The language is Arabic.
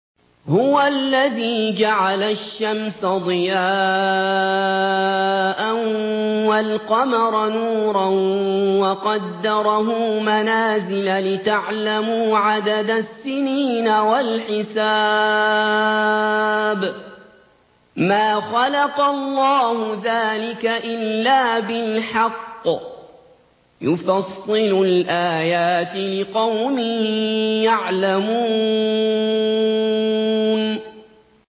هُوَ الَّذِي جَعَلَ الشَّمْسَ ضِيَاءً وَالْقَمَرَ نُورًا وَقَدَّرَهُ مَنَازِلَ لِتَعْلَمُوا عَدَدَ السِّنِينَ وَالْحِسَابَ ۚ مَا خَلَقَ اللَّهُ ذَٰلِكَ إِلَّا بِالْحَقِّ ۚ يُفَصِّلُ الْآيَاتِ لِقَوْمٍ يَعْلَمُونَ